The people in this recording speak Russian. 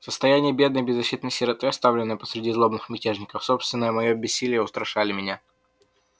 состояние бедной беззащитной сироты оставленной посреди злобных мятежников собственное моё бессилие устрашали меня